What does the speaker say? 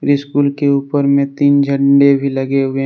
school के ऊपर में तीन झंडा भी लगे हुए--